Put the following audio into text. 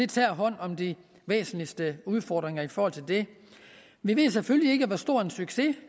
tager hånd om de væsentligste udfordringer i forhold til det vi ved selvfølgelig ikke hvor stor en succes